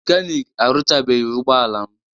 Mekanik aruchabeghi ụgbọala m